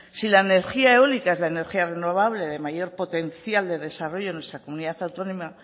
si la energía eólica es la energía renovable de mayor potencial de desarrollo en nuestra comunidad autónoma